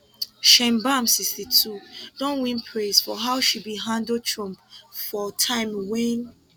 sheinbaum 62 don win praise for how she bin handle trump for time wen